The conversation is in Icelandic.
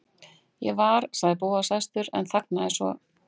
Ég var.- sagði Bóas æstur en þagnaði svo.